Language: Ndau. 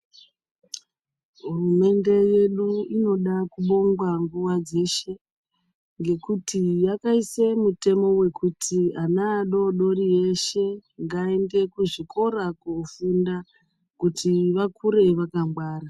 Hurumende yedu inoda kubongwa nguwa dzeshe ngekuti yakaisa mutemo yekuti ana adodori veshe ngavaende kuchikora veshe kuti vakure vakangwara